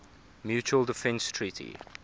mutual defense treaty